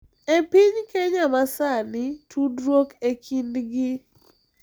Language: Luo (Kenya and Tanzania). E piny Kenya ma sani, tudruok e kindgi